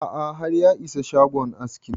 A'a har ya isa shagon askin